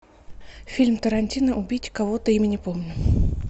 фильм тарантино убить кого то имя не помню